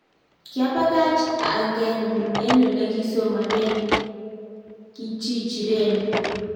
kiabakach angeenyu an ole kisomanen qchichireni